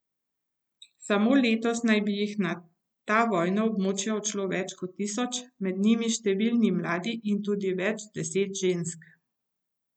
Samo letos naj bi jih na ta vojna območja odšlo več kot tisoč, med njimi številni mladi in tudi več deset žensk.